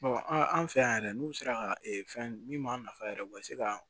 an fɛ yan yɛrɛ n'u sera ka fɛn min b'a nafa yɛrɛ u ka se ka